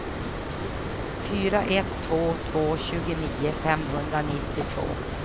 fyra ett två två tjugonio femhundranittiotvå